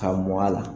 Ka mug'a la